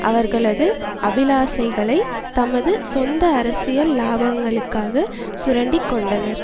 அவர்களது அபிலாசைகளை தமது சொந்த அரசியல் இலாபங்களுக்காக சுரண்டி கொண்டனர்